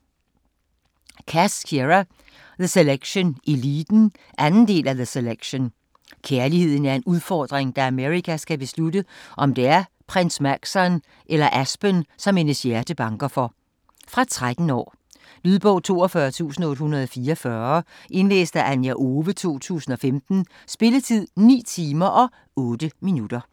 Cass, Kiera: The selection - eliten 2. del af The selection. Kærligheden er en udfordring, da America skal beslutte, om det er Prins Maxon eller Aspen, som hendes hjerte banker for. Fra 13 år. Lydbog 42844 Indlæst af Anja Owe, 2015. Spilletid: 9 timer, 8 minutter.